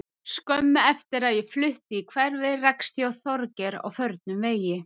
Skömmu eftir að ég flutti í hverfið rakst ég á Þorgeir á förnum vegi.